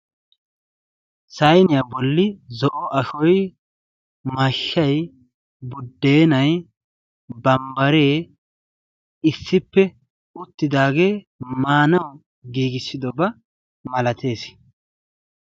Sayiniya bolli zo'o ashshoy, mashshay, buddenay , bambbare issippe uttidaage maanaw giigissidooba malatees.